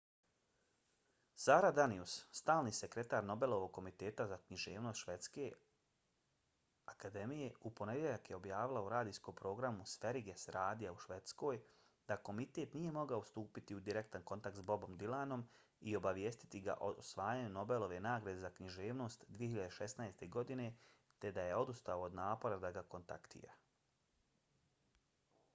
sara danius stalni sekretar nobelovog komiteta za književnost švedske akademije u ponedjeljak je objavila u radijskom programu sveriges radija u švedskoj da komitet nije mogao stupiti u direktan kontakt s bobom dylanom i obavijestiti ga o osvajanju nobelove nagrade za književnost 2016. godine te da je odustao od napora da ga kontaktira